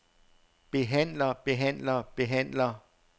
behandler behandler behandler